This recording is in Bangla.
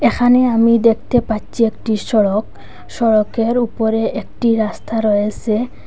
এখানে আমি দেখতে পাচ্চি একটি সড়ক সড়কের উপরে একটি রাস্তা রয়েসে।